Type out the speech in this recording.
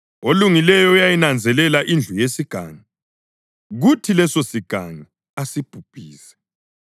Olungileyo uyayinanzelela indlu yesigangi kuthi lesosigangi asibhubhise.